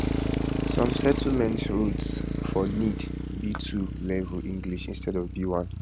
some settlement routes for need b2 level english instead of b1